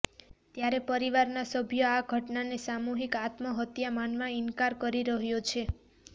ત્યારે પરિવારના સભ્યો આ ઘટનાને સામૂહિક આત્મહત્યા માનવા ઈન્કાર કરી રહ્યાં છે